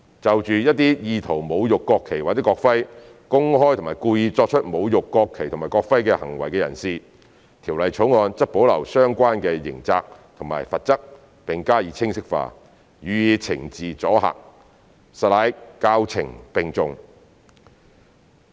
就着一些意圖侮辱國旗或國徽、公開及故意作出侮辱國旗或國徽行為的人士，《條例草案》則保留相關刑責和罰則並加以清晰化，予以懲治阻嚇，實乃教懲並重。